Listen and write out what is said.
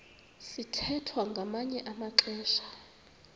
sithwethwa ngamanye amaxesha